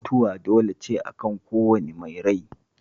Mutuwa dole ce akan kowane mai rai